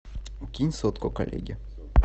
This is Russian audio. кинь сотку коллеге